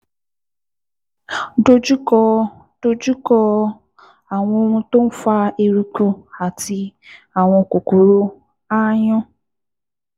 Dojú kọ Dojú kọ àwọn ohun tó ń fa eruku àti àwọn kòkòrò aáyán